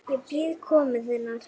Ég bíð komu þinnar.